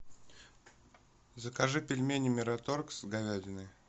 закажи пельмени мираторг с говядиной